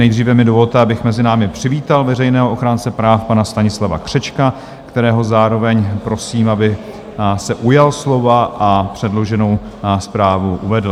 Nejdříve mi dovolte, abych mezi námi přivítal veřejného ochránce práv, pana Stanislava Křečka, kterého zároveň prosím, aby se ujal slova a předloženou zprávu uvedl.